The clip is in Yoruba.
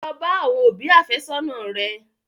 Lọ bá àwọn òbí àfẹ́sọ́nà rẹ!